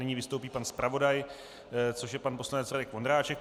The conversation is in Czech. Nyní vystoupí pan zpravodaj, což je pan poslanec Radek Vondráček.